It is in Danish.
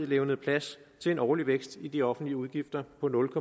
levnede plads til en årlig vækst i de offentlige udgifter på nul